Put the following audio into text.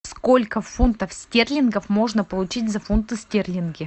сколько фунтов стерлингов можно получить за фунты стерлинги